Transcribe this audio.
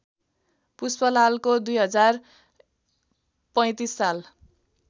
पुष्पलालको २०३५ साल